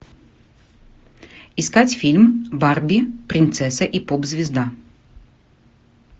искать фильм барби принцесса и поп звезда